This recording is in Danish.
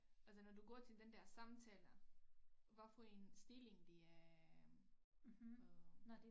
Altså når du går til den der samtale hvad for en stilling det øh øh